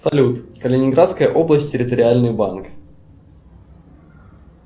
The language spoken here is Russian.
салют калининградская область территориальный банк